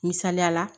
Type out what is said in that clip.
Misaliyala